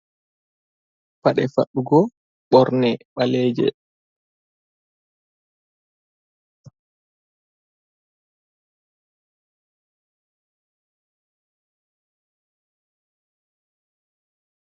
Paɗe fadɗugo ɓorne mɓaleeje.